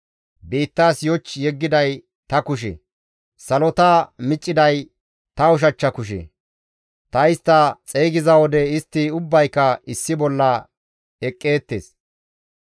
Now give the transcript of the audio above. Biittaas yoch yeggiday ta kushe; salota micciday ta ushachcha kushe. Ta istta xeygiza wode istti ubbayka issi bolla eqqeettes.